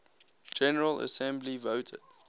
general assembly voted